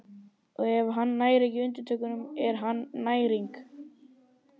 Og ef hann nær ekki undirtökunum er hann næring.